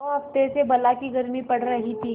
दो हफ्ते से बला की गर्मी पड़ रही थी